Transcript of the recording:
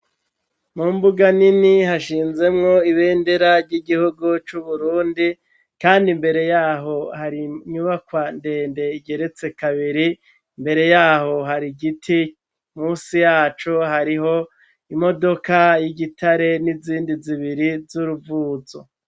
Mu mbuga nini hashinzemwo ibendera ry'igihugu c'uburundi, kandi imbere yaho hari nyubakwa ndende igeretse kabiri imbere yaho hari igiti musi yacu hariho imodoka y'igitare n'izindi zibiri z'uruvuzo.